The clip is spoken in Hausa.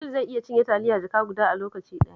Asil zai iya cinye taliya jaka guda a lokaci ɗaya